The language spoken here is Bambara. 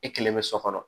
I kelen bɛ so kɔnɔ